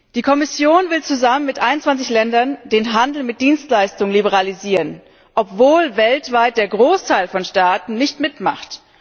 Die Kommission will zusammen mit 21 Ländern den Handel mit Dienstleistungen liberalisieren, obwohl weltweit der Großteil der Staaten nicht mitmacht.